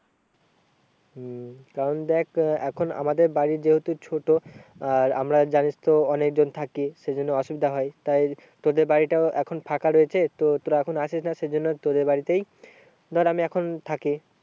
হম কারণ দেখ এখন আমাদের বাড়ি যেহেতু ছোটো আর আমরা জানিস তো অনেকজন থাকি সে জন্য অসুবিধা হয় তাই তোদের বাড়িটা এখন ফাঁকা রয়েছে তো তোরা এখন আসিস না সেই জন্য তোদের বাড়িতেই ধর আমি এখন থাকি।